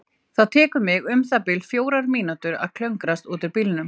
Það tekur mig um það bil fjórar mínútur að klöngrast út úr bílnum.